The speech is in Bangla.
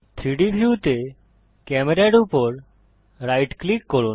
3ডি ভিউতে ক্যামেরা এর উপর রাইট ক্লিক করুন